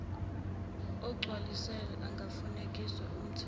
ogcwalisiwe ungafekswa uthunyelwe